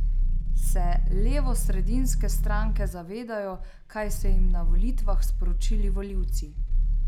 Se levosredinske stranke zavedajo kaj so jim na volitvah sporočili volivci?